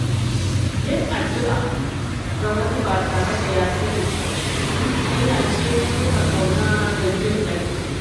Yin addu’a ga wani ba tare da ya sani ba, hanya ce ta nuna ƙauna da jinƙai.